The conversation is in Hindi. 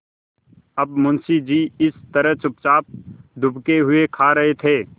अब मुंशी जी इस तरह चुपचाप दुबके हुए खा रहे थे